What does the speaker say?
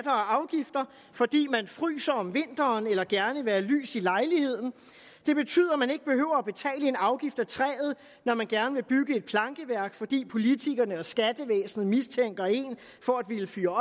og afgifter fordi man fryser om vinteren eller gerne vil have lys i lejligheden det betyder at man ikke behøver at betale en afgift af træet når man gerne vil bygge et plankeværk fordi politikerne og skattevæsenet mistænker en for at ville fyre